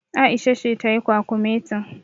Aisha ce tayi kwakumetin.